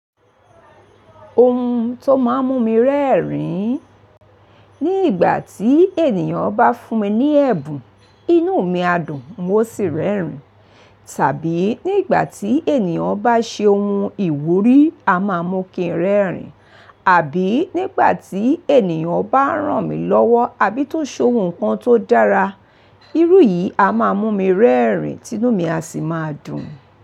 Ohun tó máa ń mú mi rẹ́rìn, ní ìgbà tí ènìyàn bá fún mi ní ẹ̀bùn inú mi á dùn mo sì rẹ́rìn. Tàbí nígbà tí ènìyàn bá ṣe ohun ìwúrí, a máa mú kí n rẹ́rìn, àbí nígbà tí ènìyàn bá ràn mí lọ́wọ́, àbí tó ṣe ohun kan tó dára, irú yìí á máa mú mi rẹ́rìn, tinú mi á sì máa dùn.